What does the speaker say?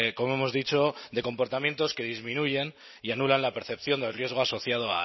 como hemos dicho de comportamientos que disminuyen y anulan la percepción del riesgo asociado